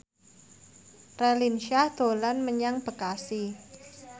Raline Shah dolan menyang Bekasi